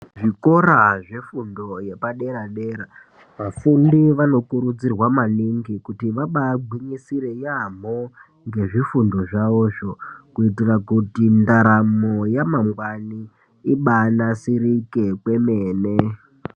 Zvikora zvefundo yepadera-dera vafundi vanokurudzirwa maningi kuti vabagwinyisire yaamho ngezvifundo zvavozvo kuitira kuti ndaramo yamangwani ibanasirike kwemene.